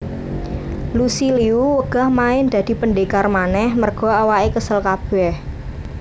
Lucy Liu wegah main dadi pendekar maneh merga awake kesel kabeh